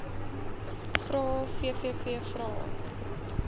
vrae vvv vrae